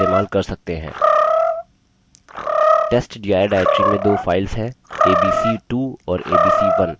testdir directory में दो files हैं abc2 और abc1